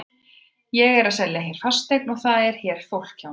Ég er að selja hér fasteign og það er hér fólk hjá mér.